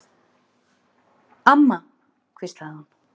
Amma, hvíslaði hún.